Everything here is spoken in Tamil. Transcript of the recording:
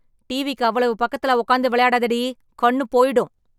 டிவிக்கு அவ்வளவு பக்கத்துல உக்காந்து விளையாடாத டி. கண்ணு போயிடும்!